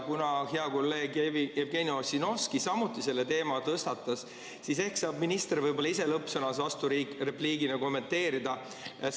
Kuna hea kolleeg Jevgeni Ossinovski samuti selle teema tõstatas, siis ehk saab minister ise lõppsõnas vasturepliigina kommenteerida.